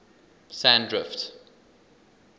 sandrift